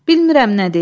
Bilmirəm nə deyim.